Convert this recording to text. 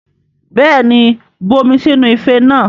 Bẹ́ẹ̀ni, bu omi sínú ife náà